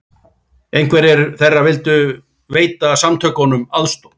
Einhverjir þeirra vildu veita samtökunum aðstoð